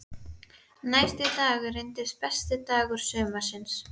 Næsti dagur reynist besti dagur sumarsins.